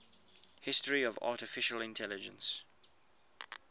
history of artificial intelligence